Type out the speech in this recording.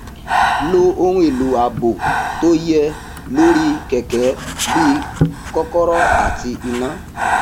lo ohun èlò ààbò tó yẹ um lórí um kèké gẹgẹ bí kókóró àti iná